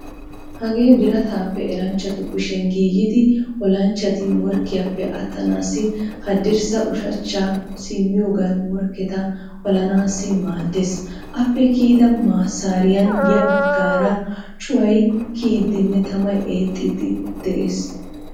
Hagee birataape eranchchatu kushiyan giigidi olanchchati morkkiyaappe attanaassi haddirssa ushachcha simmiyogan morkketa olanaassi maaddeees. Appe kiyida massaariyan ya baggaara cuway kiyiiddine tamay eexxiiddi de'ees.